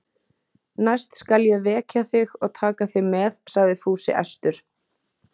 Næst skal ég vekja þig og taka þig með, sagði Fúsi æstur.